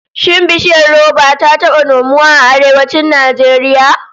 Shin bishiyar roba ta taba nomuwa a Arewacin Najeriya?